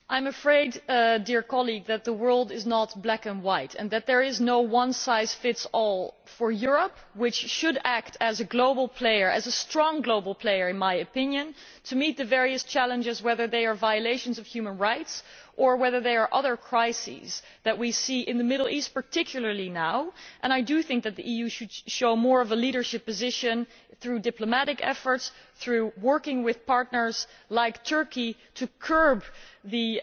I am afraid, dear colleague, that the world is not black and white and that there is no one size fits all for Europe, which should act as a global player as a strong global player in my opinion to meet the various challenges whether they are violations of human rights or whether they are other crises that we see in the Middle East, particularly now, and I do think that the EU should show more of a leadership position through diplomatic efforts, through working with partners like Turkey to curb the